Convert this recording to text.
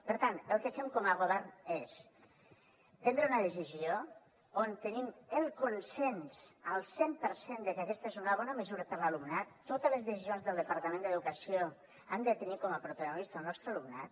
per tant el que fem com a govern és prendre una decisió on tenim el consens al cent per cent de que aquesta és una bona mesura per a l’alumnat totes les decisions del departament d’educació han de tenir com a protagonista el nostre alumnat